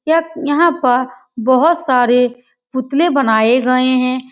यक यहाँ प बहोत सारे पुतले बनाए गए हैं।